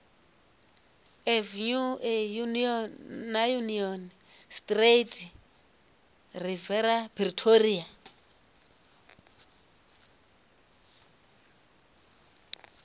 avenue na union street riviera pretoria